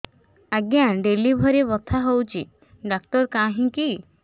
ଆଜ୍ଞା ଡେଲିଭରି ବଥା ହଉଚି ଡାକ୍ତର କାହିଁ କି